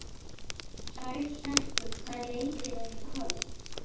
Hrærekur, hvaða leikir eru í kvöld?